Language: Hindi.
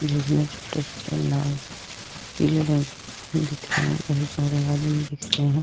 जिसमें छोटे-छोटे लाल पीले रंग के फूल दिख रहे हैं बहुत सारे आलूम दिख रहे हैं।